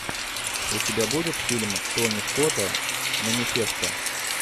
у тебя будет фильм тони скотта манифеста